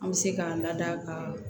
An bɛ se k'an lada ka